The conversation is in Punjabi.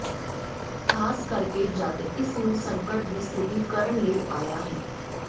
ਖ਼ਾਸ ਕਰਕੇ ਜਦ ਇਸ ਨੂੰ ਸੰਕਟ ਦੀ ਸਥਿਤੀ ਕਰਨ ਲਈ ਆਇਆ ਹੈ